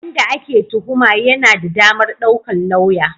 Wanda ake tuhuma yana da damar daukar lauya.